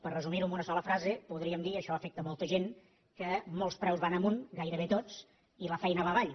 per resumir·ho en una sola frase podríem dir que això afecta molta gent que molts preus van amunt gairebé tots i la feina va avall